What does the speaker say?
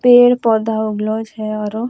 पेड़-पौधा उगलो छे ओरो।